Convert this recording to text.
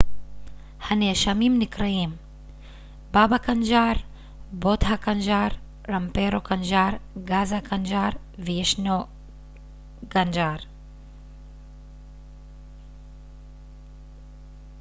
הנאשמים נקראים באבא קנג'אר בוטהא קנג'ר רמפרו קנג'ר גזה קנג'ר ו-וישנו קנג'ר